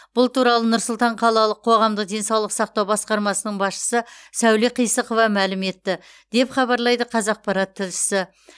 бұл туралы нұр сұлтан қалалық қоғамдық денсаулық сақтау басқармасының басшысы сәуле қисықова мәлім етті деп хабарлайды қазақпарат тілшісі